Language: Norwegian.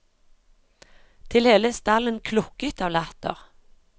Til hele stallen klukket av latter.